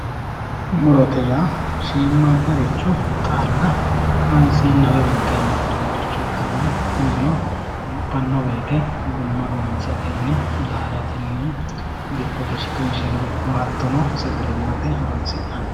murote ya shiimmaaddaricho xaalla kaanseenna woyi winxeena fulinoricho ikkanna laalote yinanni wote gumma gummisatenni laalatenni dikkote shiqinsheno ikko sagalimmate horonsi'nanni.